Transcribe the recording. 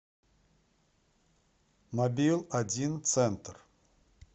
мобил один центр